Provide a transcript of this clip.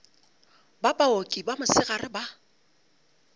ba baoki ba mosegare ba